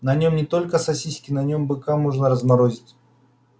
на нем не только сосиски на нем быка можно разморозить